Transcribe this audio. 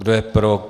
Kdo je pro?